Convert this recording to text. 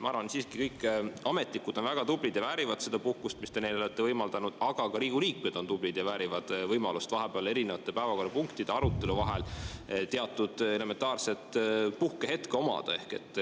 Ma arvan, et kõik ametnikud on väga tublid ja väärivad seda puhkust, mille te neile olete võimaldanud, aga siiski on ka Riigikogu liikmed tublid ja väärivad võimalust saada vahepeal eri päevakorrapunktide arutelu vahel elementaarse puhkehetke.